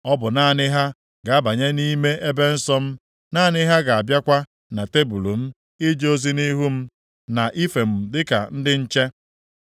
Ọ bụ naanị ha ga-abanye nʼime ebe nsọ m, naanị ha ga-abịakwa na tebul m ije ozi nʼihu m, na ife m dịka ndị nche.